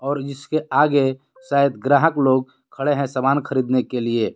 और इसके आगे शायद ग्राहक लोग खड़े हैं सामान खरीदने के लिए।